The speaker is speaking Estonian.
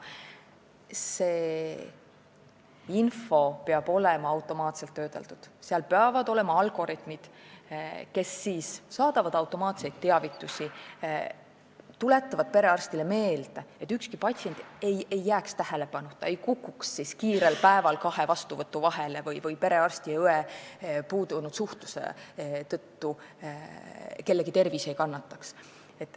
See info peab olema automaatselt töödeldud, peavad olema algoritmid, mis saadavad automaatseid teavitusi, tuletavad perearstile meelde, et ükski patsient ei jääks tähelepanuta, ei kukuks kiirel päeval kahe vastuvõtu vahele ning perearsti ja õe puuduliku suhtluse tõttu kellegi tervis ei kannataks.